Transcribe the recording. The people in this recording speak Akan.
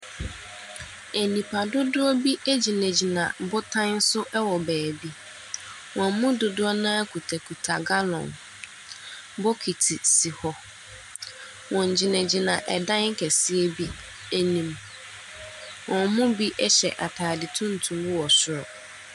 Nipadodoɔ bi gyinagyina abotan so wɔ baabi. Wɔn mu dodoɔ no ara kitakita gallon. Bokiti si hɔ. Wɔgyinagyina dan kɛseɛ bi anim. Wɔn mu bi hyɛ atade tuntum wɔ soro.